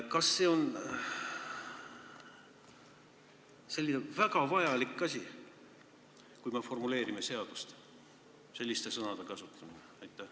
Kas seaduse formuleerimisel on ikka vajalik selliste sõnade kasutamine?